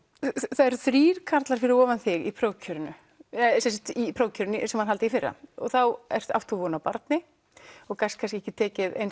það eru þrír karlar fyrir ofan þig í prófkjörinu í prófkjörinu sem var haldið í fyrra og þá átt þú von á barni og gast kannski ekki tekið eins